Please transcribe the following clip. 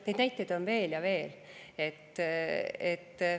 Neid näiteid on veel ja veel.